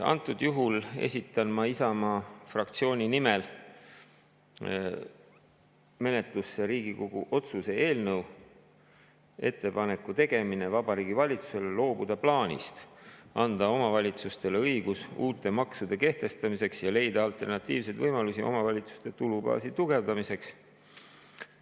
Antud juhul esitan ma Isamaa fraktsiooni nimel menetlusse Riigikogu otsuse "Ettepaneku tegemine Vabariigi Valitsusele loobuda plaanist anda omavalitsustele õigus uute maksude kehtestamiseks ja leida alternatiivseid võimalusi omavalitsuste tulubaasi tugevdamiseks" eelnõu.